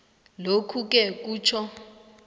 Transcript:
lokhuke kutjho